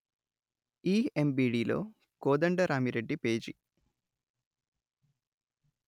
ఇఎమ్బిడిలో Kodandaramireddy page